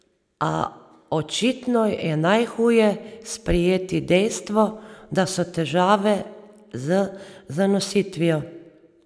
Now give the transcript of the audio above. A, očitno je najhuje sprejeti dejstvo, da so težave z zanositvijo.